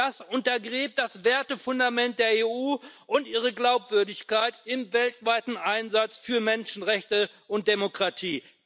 Das untergräbt das Wertefundament der EU und ihre Glaubwürdigkeit im weltweiten Einsatz für Menschenrechte und Demokratie.